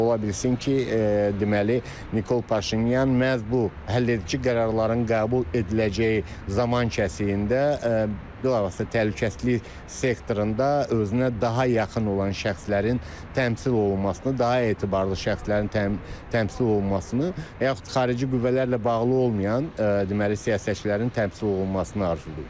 Ola bilsin ki, deməli Nikol Paşinyan məhz bu həlledici qərarların qəbul ediləcəyi zaman kəsiyində bilavasitə təhlükəsizlik sektorunda özünə daha yaxın olan şəxslərin təmsil olunmasını, daha etibarlı şəxslərin təmsil olunmasını və yaxud xarici qüvvələrlə bağlı olmayan deməli siyasətçilərin təmsil olunmasını arzulayır.